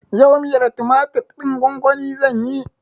Yau miyar tumatir ɗin gwan-gwani zanyi.